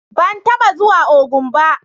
Ban taba zuwa Ogun ba.